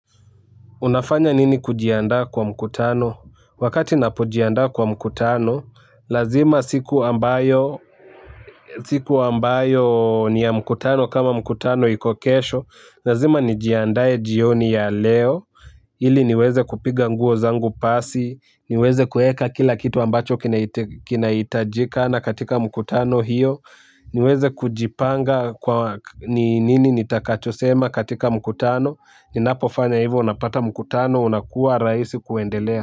Unafanya nini kujiandaa kwa mkutano? Wakati napojiandaa kwa mkutano, lazima siku ambayo siku ambayo ni ya mkutano kama mkutano iko kesho, lazima nijiandae jioni ya leo, ili niweze kupiga nguo zangu pasi, niweze kueka kila kitu ambacho kinahitajika na katika mkutano hiyo, niweze kujipanga ni nini nitakachosema katika mkutano, ninapofanya hivyo unapata mkutano unakuwa rahisi kuendelea.